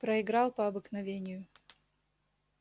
проиграл по обыкновению